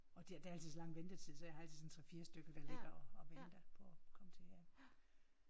Og det er der er altid så lang ventetid så jeg har altid en sådan en 3 4 stykker der ligger og og venter på at komme til ja